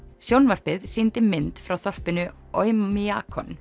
sjónvarpið sýndi mynd frá þorpinu